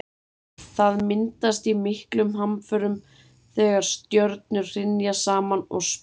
Það myndast í miklum hamförum þegar stjörnur hrynja saman og springa.